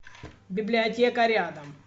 библиотека рядом